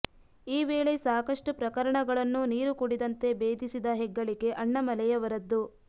ಈ ವೇಳೆ ಸಾಕಷ್ಟು ಪ್ರಕರಣಗಳನ್ನು ನೀರುಕುಡಿದಂತೆ ಬೇಧಿಸಿದ ಹೆಗ್ಗಳಿಕೆ ಅಣ್ಣಾಮಲೈ ಅವರದ್ದು